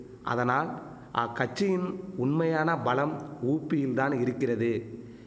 அதனால் ஆ கட்சியின் உண்மையான பலம் ஊப்பியில் தான் இருக்கிறது